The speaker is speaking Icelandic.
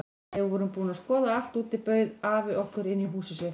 Þegar við vorum búin að skoða allt úti bauð afi okkur inn í húsið sitt.